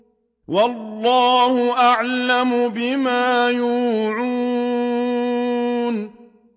وَاللَّهُ أَعْلَمُ بِمَا يُوعُونَ